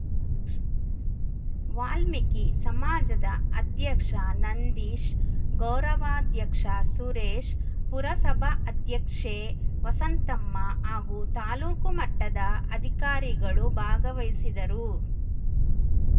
ವಾಲ್ಮೀಕಿ ಸಮಾಜದ ಅಧ್ಯಕ್ಷ ನಂದೀಶ್‌ ಗೌರವಾಧ್ಯಕ್ಷ ಸುರೇಶ್‌ ಪುರಸಭಾ ಅಧ್ಯಕ್ಷೆ ವಸಂತಮ್ಮ ಹಾಗೂ ತಾಲೂಕು ಮಟ್ಟದ ಅಧಿಕಾರಿಗಳು ಭಾಗವಹಿಸಿದರು